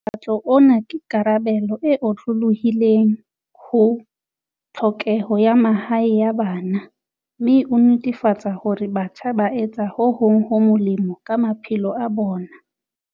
Mokgatlo ona ke karabelo e otlolohileng ho tlhokeho ya mahae ya bana mme o netefatsa hore batjha ba etsa ho hong ho molemo ka ma phelo a bona.